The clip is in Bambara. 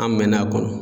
An mɛɛnna a kɔnɔ